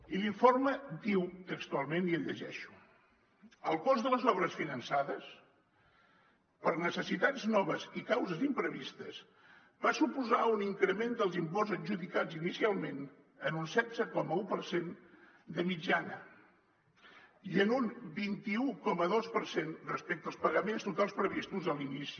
i l’informe diu textualment i el llegeixo el cost de les obres finançades per a necessitats noves i causes imprevistes va suposar un increment dels imports adjudicats inicialment en un setze coma un per cent de mitjana i en un vint un coma dos per cent respecte als pagaments totals previstos a l’inici